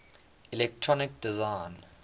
electronic design